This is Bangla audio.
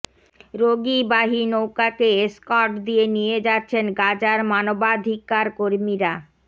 রোগীবাহী নৌকাকে এস্কর্ট দিয়ে নিয়ে যাচ্ছেন গাজার মানবাধিকার কর্মীরা